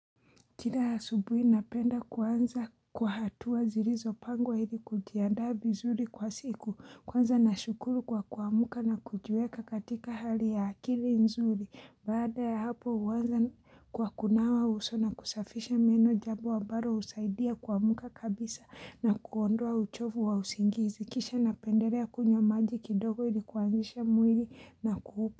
Kila asubuhi napenda kuanza kwa hatua zilizopangwa ili kujiandaa viizuri kwa siku kwanza nashukuru kwa kuamuka na kujiweka katika hali ya akili nzuri baada ya hapo huanza kwa kunawa uso na kusafisha meno jambo ambalo husaidia kuamka kabisa na kuondoa uchovu wa usingizi kisha napendelea kunywa maji kidogo ili kuanzisha mwili na kuupa.